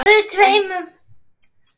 Siggi Palli.